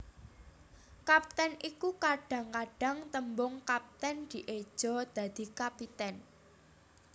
Kapten iku Kadhang kadhang tembung kaptèn dieja dadi kapitèn